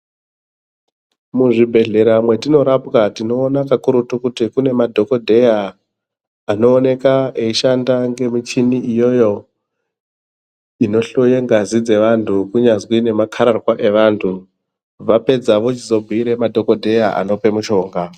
Muzvibhedhlera matinorapwa tinoona kakurutu kuti kune madhokodheya anoonekwa eishanda ngemuchini iyoyo inohloya ngazi dzimweni Vapedza vozobhuira madhokodheya apuwe mitombo.